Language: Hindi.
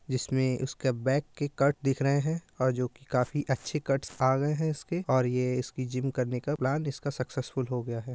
जिसमे उसके बैक के कट दिख रहे हैं और जो काफी अच्छे कट्स आ गये हैं और ये जिम करने का प्लान इसका सक्सेसफुल हो गया है।